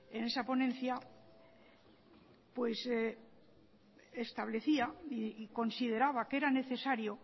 en esa ponencia establecía y consideraba que era necesario